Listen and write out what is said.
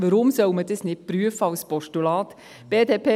Warum soll man dies nicht als Postulat prüfen?